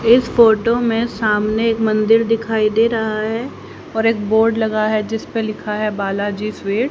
इस फोटो में सामने एक मंदिर दिखाई दे रहा है और एक बोर्ड लगा है जिसपे लिखा है बाला जी स्वीट्स --